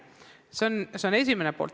See on asja esimene pool.